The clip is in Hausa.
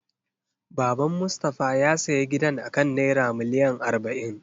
Baban Mustafa ya siya gidan akan naira miliyan arba'in.